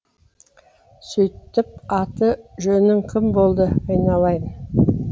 сөйтіп аты жөнің кім болды айналайын